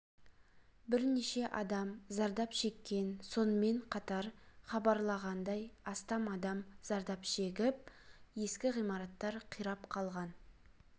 бірнеше адам зардап шеккен сонымен қатар хабарлағандай астам адам зардап шегіп ескі ғимараттар қирап қалған